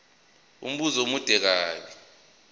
umbuzo omude ngabe